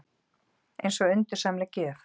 Eins og undursamleg gjöf.